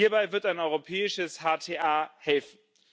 Hierbei wird ein europäisches HTA helfen.